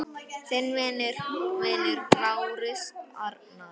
Þinn vinur, Lárus Arnar.